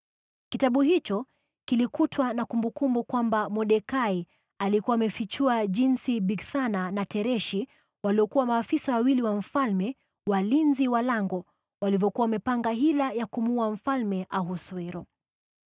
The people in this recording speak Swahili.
Kitabu hicho kilikutwa na kumbukumbu kwamba Mordekai alikuwa amefichua jinsi Bigthana na Tereshi, waliokuwa maafisa wawili wa mfalme, walinzi wa lango walivyokuwa wamepanga hila ya kumuua Mfalme Ahasuero.